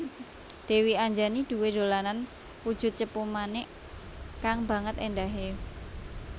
Dèwi Anjani duwé dolanan wujud cupu manik kang banget éndahé